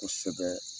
Kosɛbɛ